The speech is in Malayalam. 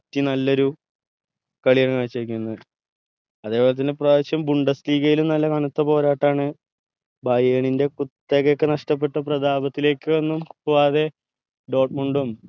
city നല്ലൊരു കളിയാണ് കാഴ്ച വെക്കുന്നത് അതെ പോലെ തന്നെ ഇപ്പ്രാവശ്യം കനത്ത പോരാട്ടാണ് ന്റെ കുത്തകയൊക്കെ നഷ്ടപ്പെട്ട പ്രതാപത്തിലേക്കൊന്നും പോവാതെ ഉം